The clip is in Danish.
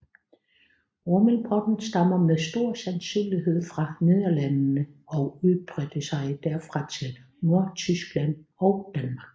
Rummelpotten stammer med stor sandsynlighed fra Nederlandene og udbredte sig derfra til Nordtyskland og Danmark